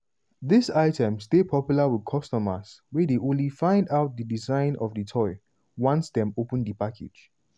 dis items dey popular with customers wey dey only find out di design of di toy once dem open di package.